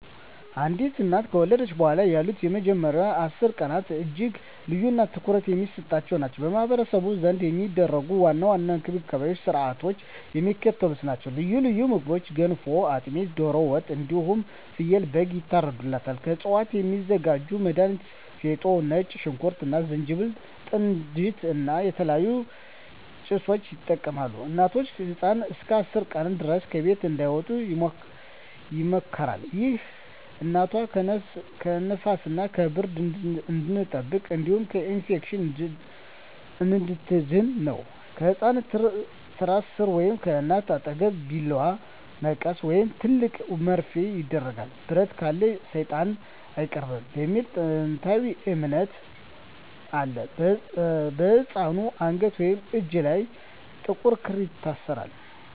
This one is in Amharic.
አንዲት እናት ከወለደች በኋላ ያሉት የመጀመሪያዎቹ 10 ቀናት እጅግ ልዩና ትኩረት የሚሰጥባቸው ናቸው። በማኅበረሰቡ ዘንድ የሚደረጉ ዋና ዋና እንክብካቤዎችና ሥርዓቶች የሚከተሉት ናቸው፦ ልዩ ልዩ ምግቦች ገንፎ፣ አጥሚት፣ ዶሮ ወጥ እንዲሁም ፍየልና በግ ይታርድላታል። ከእፅዋት የሚዘጋጁ መድሀኒቶች ፌጦ፣ ነጭ ሽንኩርት እና ዝንጅብል፣ ጥንጅት እና የተለያዩ ጭሶችን ይጠቀማሉ። እናትና ህፃኑ እስከ 10 ቀን ድረስ ከቤት እንዳይወጡ ይመከራል። ይህ እናቷ ከንፋስና ከብርድ እንድትጠበቅ እንዲሁም ከኢንፌክሽን እንድትድን ነው። ከህፃኑ ትራስ ሥር ወይም ከእናቷ አጠገብ ቢላዋ፣ መቀስ ወይም ትልቅ መርፌ ይደረጋል። "ብረት ካለ ሰይጣን አይቀርብም" የሚል ጥንታዊ እምነት አለ። በህፃኑ አንገት ወይም እጅ ላይ ጥቁር ክር ይታሰራል።